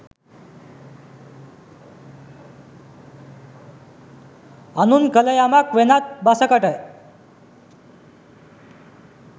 අනුන් කළ යමක් වෙනත් බසකට